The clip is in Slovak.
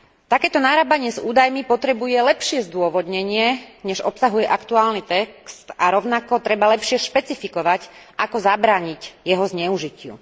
Takéto narábanie s údajmi potrebuje lepšie zdôvodnenie než obsahuje aktuálny text a rovnako treba lepšie špecifikovať, ako zabrániť jeho zneužitiu.